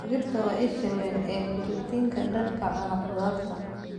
Digirta waa isha weyn ee borotiinka dadka cuna khudradda.